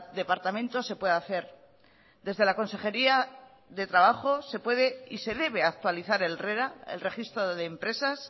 departamento se puede hacer desde la consejería de trabajo se puede y se debe actualizar el rera el registro de empresas